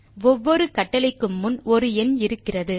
ஒவ்வொரு கட்டளைக்கும் முன் ஒரு எண் இருக்கிறது